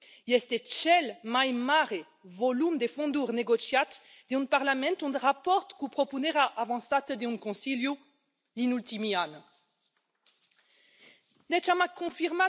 Este cel mai mare volum de fonduri negociat în Parlament în raport cu propunerea avansată de un Consiliu din ultimii ani.